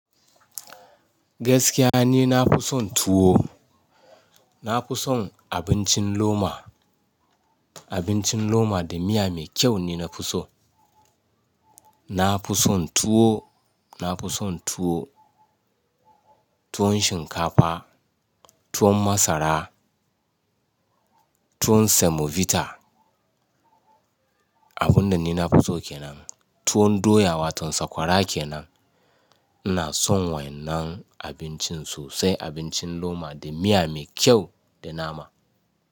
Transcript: Gaskiya ne na fi son tuwo. Na fi son abincin loma. Abincin loma da miya mai kyau ne na fi so. Na fi son tuwo, na fi son tuwo, tuwon shinkafa, tuwon masara, tuwon semovita. Abun da ni na fi so kenan tuwon doya wato sakwara kenan. Ina son wannan abincin sosai, abincin loma da miya mai kyau da nama.